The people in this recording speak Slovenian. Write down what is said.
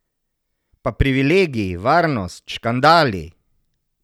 Pa privilegiji, varnost, škandali ...